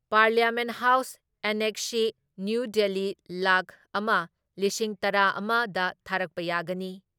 Parliament house annexe, new ꯗꯤꯜꯂꯤꯂꯥꯛ ꯑꯃ ꯂꯤꯁꯤꯡ ꯇꯔꯥ ꯑꯃ ꯗ ꯊꯥꯔꯛꯄ ꯌꯥꯒꯅꯤ ꯫